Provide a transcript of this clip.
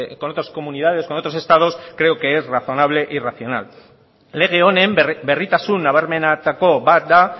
con otras comunidades con otros estados creo que es razonable y racional lege honen berritasun nabarmenetako bat da